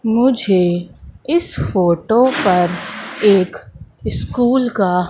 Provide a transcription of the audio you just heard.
मुझे इस फोटो पर एक स्कूल का--